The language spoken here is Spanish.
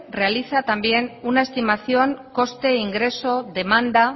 realiza también una estimación coste ingreso demanda